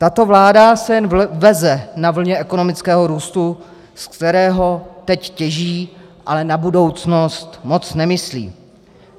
Tato vláda se jen veze na vlně ekonomického růstu, ze kterého teď těží, ale na budoucnost moc nemyslí.